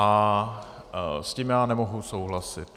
A s tím já nemohu souhlasit.